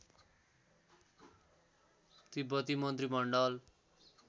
तिब्बती मन्त्रिमण्डल